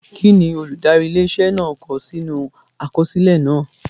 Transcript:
Kí ni olùdarí ilé iṣẹ́ náà kọ sínú àkọsílẹ̀ náà?